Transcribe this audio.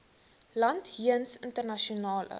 land jeens internasionale